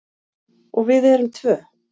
Og við erum tvö.